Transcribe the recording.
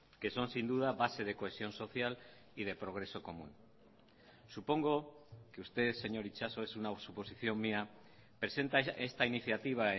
que son sin duda base de cohesión social y de progreso común supongo que usted señor itxaso es una suposición mía presenta esta iniciativa